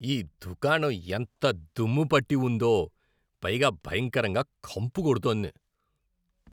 ఈ దుకాణం ఎంత దుమ్ము పట్టి ఉందో, పైగా భయంకరంగా కంపు కొడుతోంది.